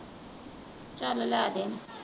ਚਲ ਲੈ ਦੇ।